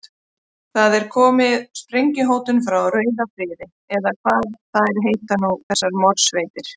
Það hefur komið sprengjuhótun frá rauðum friði, eða hvað þær nú heita þessar morðsveitir.